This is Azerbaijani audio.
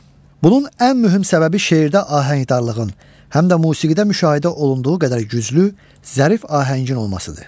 Bunun ən mühüm səbəbi şeirdə ahəngdarlığın, həm də musiqidə müşahidə olunduğu qədər güclü, zərif ahəngin olmasıdır.